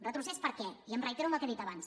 retrocés per què i em reitero en el que he dit abans